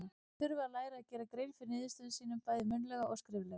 Þeir þurfa að læra að gera grein fyrir niðurstöðum sínum, bæði munnlega og skriflega.